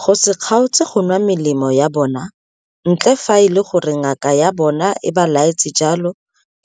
Go se kgaotse go nwa melemo ya bona ntle fa e le gore ngaka ya bona e ba laetse jalo